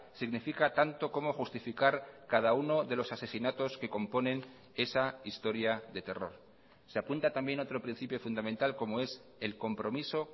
significa tanto como justificar cada uno de los asesinatos que componen esa historia de terror se apunta también otro principio fundamental como es el compromiso